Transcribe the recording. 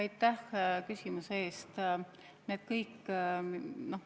Aitäh küsimuse eest!